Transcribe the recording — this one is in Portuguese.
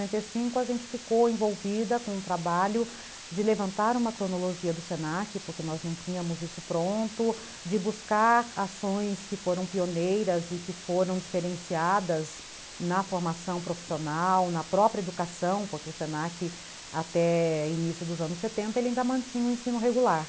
Então, em noventa e cinco, a gente ficou envolvida com o trabalho de levantar uma cronologia do se na que, porque nós não tínhamos isso pronto, de buscar ações que foram pioneiras e que foram diferenciadas na formação profissional, na própria educação, porque o se na que até início dos anos setenta, ele ainda mantinha o ensino regular.